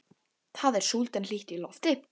Það er súld en hlýtt í lofti.